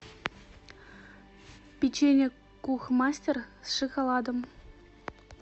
печенье кухмастер с шоколадом